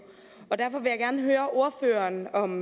og derfor vil jeg gerne høre ordføreren om